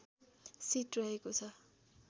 seat रहेको छ